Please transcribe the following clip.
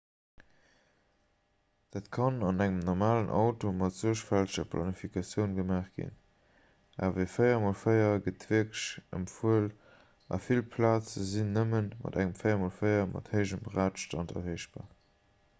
dat kann an engem normalen auto mat suergfälteger planifikatioun gemaach ginn awer e 4x4 gëtt wierklech empfuel a vill plaze sinn nëmme mat engem 4x4 mat héijem radstand erreechbar